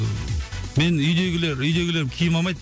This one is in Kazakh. мен үйдегілер үйдегілерім киім алмайды